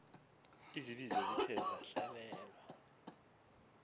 izibizo zithe zahlelwa